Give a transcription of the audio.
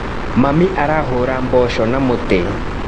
Mami arahũra mboco na mũtĩ.